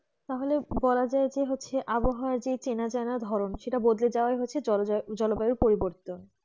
তাহলে বলা যায় যে হচ্ছে আবহাওয়া চেনা জানা ধরেন সেটা বদলে যাওয়া হচ্ছে জলবায়ু পরিবর্তন